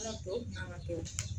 Yɔrɔ tɔw kun kan ka kɛ o